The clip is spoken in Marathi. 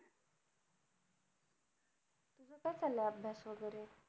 काय चाललंय अभ्यास वगैरे.